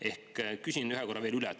Ehk küsin ühe korra veel üle.